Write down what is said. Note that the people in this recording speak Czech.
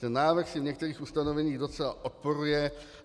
Ten návrh si v některých ustanoveních docela odporuje.